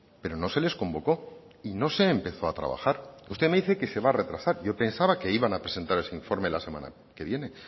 pero no se les convocó y no se empezó a trabajar usted me dice que se va a retrasar yo pensaba que iban a presentar ese informe la semana que viene